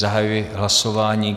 Zahajuji hlasování.